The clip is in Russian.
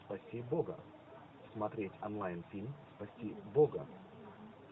спаси бога смотреть онлайн фильм спаси бога